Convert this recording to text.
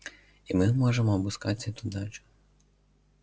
и мы можем обыскать эту дачу